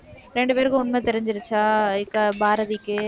இரண்டு பேருக்கும் உண்மை தெரிஞ்சிருச்சா? பாரதிக்கு.